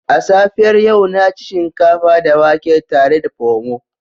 A safiyar yau na ci shinkafa da wake tare da Pomo